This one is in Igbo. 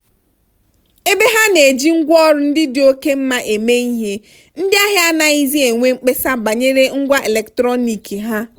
ebe ha na-eji ngwaọrụ ndị dị oke mma eme ihe ndị ahịa anaghịzi enwe mkpesa banyere ngwa eletrọnịkị ha.